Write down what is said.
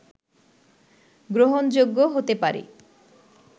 গ্রহণযোগ্য হতে পারে